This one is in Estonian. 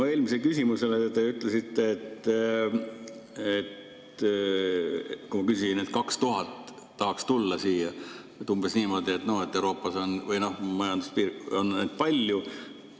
Mu eelmisele küsimusele, kui ma küsisin selle kohta, et 2000 tahaks siia tulla, te vastasite umbes niimoodi, et Euroopas on neid palju.